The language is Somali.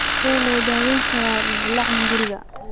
Sidee loo daweyn karaa dildilaaca hunguriga?